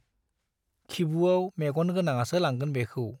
खिबुवाव मेग'न गोनाङासो लांगोन बेखौ।